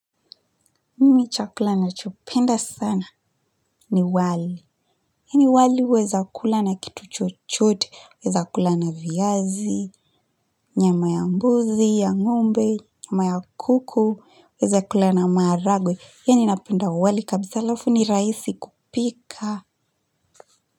Mimi chakula nachopenda sana ni wali. Yani wali huweza kula na kitu chochote, weza kula na viazi, nyama ya mbuzi, ya ng'ombe, nyama ya kuku, weza kula na maharagwe. Yeni napenda wali kabisa alafu ni rahisi kupika.